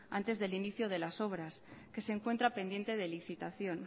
antes del inicio de las obras que se encuentra pendiente de licitación